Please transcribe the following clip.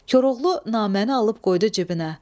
Koroğlu naməni alıb qoydu cibinə.